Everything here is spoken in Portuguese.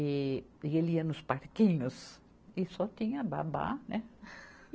E, e ele ia nos parquinhos e só tinha babá, né?